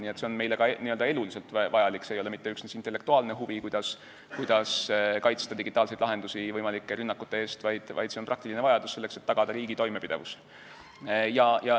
Nii et see on meile ka eluliselt vajalik, see ei ole mitte üksnes intellektuaalne huvi, et kuidas kaitsta digitaalseid lahendusi võimalike rünnakute eest, vaid see on praktiline vajadus, selleks et tagada riigi toimepidevus.